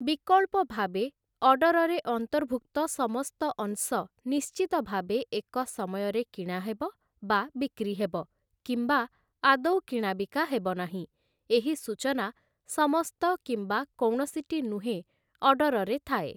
ବିକଳ୍ପ ଭାବେ, ଅର୍ଡରରେ ଅନ୍ତର୍ଭୁକ୍ତ ସମସ୍ତ ଅଂଶ ନିଶ୍ଚିତ ଭାବେ ଏକ ସମୟରେ କିଣାହେବ ବା ବିକ୍ରିହେବ, କିମ୍ବା ଆଦୌ କିଣା ବିକା ହେବନାହିଁ, ଏହି ସୂଚନା 'ସମସ୍ତ କିମ୍ବା କୌଣସିଟି ନୁହେଁ' ଅର୍ଡ଼ରରେ ଥାଏ ।